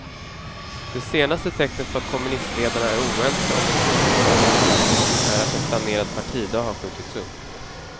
Det senaste tecknet på att kommunistledarna är oense om den ekonomiska politiken är att en planerad partidag har skjutits upp.